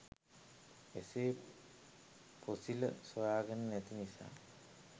එසේ පොසිල සොයාගෙන නැති නිසා